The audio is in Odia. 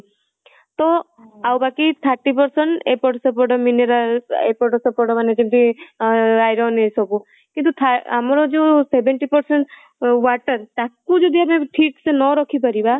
ତ ଆଉ ବାକି thirty percent ଏପଟ ସେପଟ mineral ଏପଟ ସେପଟ ମାନେ ଯେମିତି iron ଏ ସବୁ କିନ୍ତୁ ଆମର ଯୋଉ seventy percent water ତାକୁ ଯଦି ଆମେ ଠିକ ସେ ନ ରଖିପରିବା